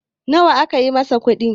nawa aka yi masa kudi?